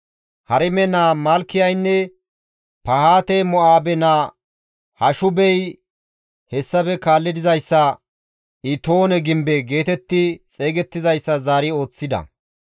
Harime naa Malkiyaynne Pahaate-Mo7aabe naa Hashubey hessafe kaalli dizayssa, «Itoone gimbe» geetetti xeygettizayssa zaari ooththida.